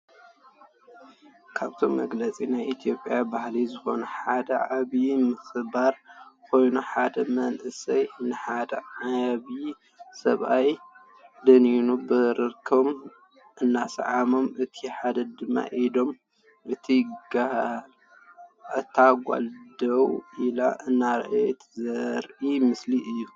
ካብቶም መግለፂ ናይ ኢትዮጽያ ባህሊ ዝኮነ ሓደ ዓብይ ምክባር ኮይኑ ሓደ መንእሰይ ንሓደ ዓብይ ሰብኣይ ደኒኑ ብርኮም እናሰዓሞም እቲ ሓደ ድማ ኢዶም እታ ጋል ደው ኢላ እናረኣየት ዘርኢ ምስሊ እዩ።